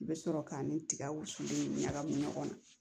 I bɛ sɔrɔ k'a ni tiga wusulen in ɲagami ɲɔgɔn na